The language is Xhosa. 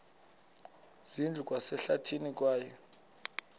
zindlu zikwasehlathini kwaye